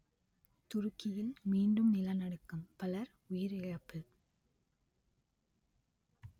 துருக்கியில் மீண்டும் நிலநடுக்கம் பலர் உயிரிழப்பு